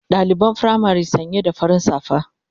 Daliban firamari sanya da farin safa